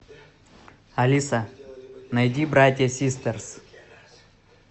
алиса найди братья систерс